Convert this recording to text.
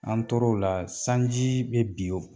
An tor'o la sanji bɛ bin